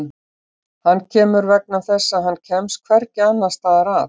Hann kemur vegna þess að hann kemst hvergi annars staðar að.